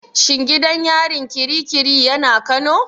Shin gidan yarin ƙiri ƙiri yana Kano?